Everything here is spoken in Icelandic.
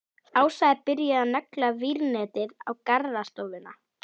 Ása er byrjuð að negla vírnetið á garðstofuna.